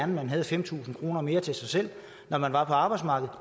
man havde fem tusind kroner mere til sig selv når man er på arbejdsmarkedet